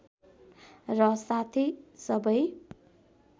र साथै सबै